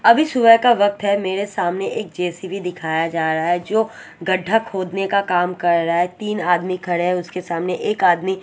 अभी सुबह का वक्त है मेरे सामने एक जे_सी_बी दिखाया जा रहा है जो गड्ढा खोदने का काम कर रहा है तीन आदमी खड़े हैं उसके सामने एक आदमी--